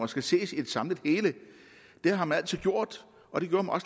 skal ses i et samlet hele det har man altid gjort og det gjorde